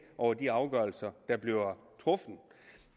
over de afgørelser der bliver truffet